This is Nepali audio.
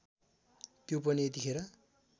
त्यो पनि यतिखेर